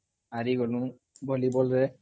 ହାରିଗଲୁ ଭଲିବଲରେ